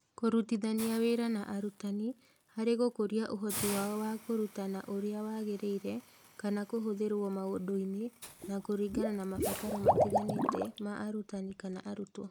Kũrutithania wĩra na arutani harĩ gũkũria ũhoti wao wa kũrutana ũrĩa wagĩrĩire, na kũhũthĩrũo maũndũ-inĩ, na kũringana na mabataro matiganĩte ma arutani/ arutwo.